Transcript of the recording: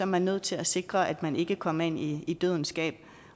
man nødt til at sikre at man ikke kommer ind i i dødens gab